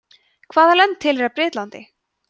hvaða lönd tilheyra bretlandi